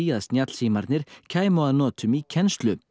að kæmu að notum í kennslu